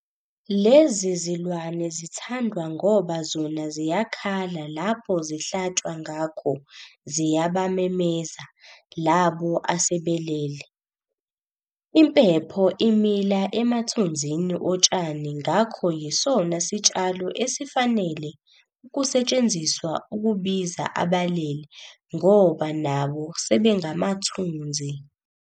Lezi zilwane zithandwa ngoba zona ziyakhala lapho zihlatshwa ngakho ziyabamemeza labo asebelele. Impepho imila emathunzini otshani ngakho yisona sitshalo esifanele ukusetshenziswa ukubiza abalele ngoba nabo sebengamathunzi.